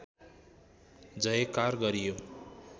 जयकार गरियो